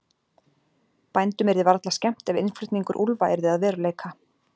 Bændum yrði varla skemmt ef innflutningur úlfa yrði að veruleika.